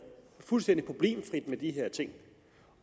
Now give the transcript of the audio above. fuldstændig problemfrit med de her ting